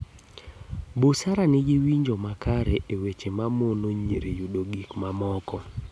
Busara nigi winjo makare e weche mamono nyiri yudo gik moko